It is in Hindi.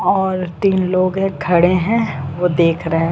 और तीन लोग है खड़े है वो देख रहे हैं।